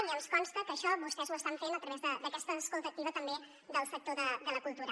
i ens consta que això vostès ho estan fent a través d’aquesta escolta activa també del sector de la cultura